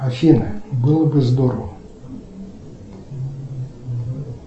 афина было бы здорово